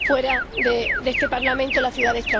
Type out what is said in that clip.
fuera de este Parlamento en la ciudad de Estrasburgo.